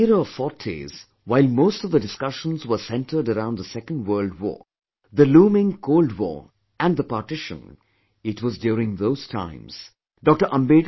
In the era of 40s, while most of the discussions were centred around the Second World War, the looming Cold war and the partition it was during those times Dr